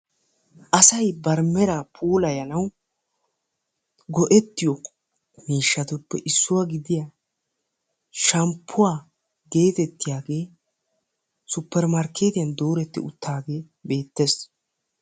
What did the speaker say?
assay bari heera puulayanaw go"ettiyo shampuwwa geettetiyaage supermarkettiyani doretti uttage beettessi.